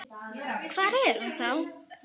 Hvar er hann þá?